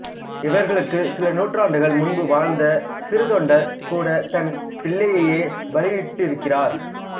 இவர்களுக்குச் சில நூற்றாண்டுகள் முன்பு வாழ்ந்த சிறுத்தொண்டர் கூடத் தன் பிள்ளையையே பலியிட்டிருக்கிறார்